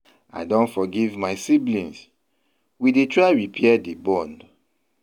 I don forgive my siblings, we dey try repair di bond.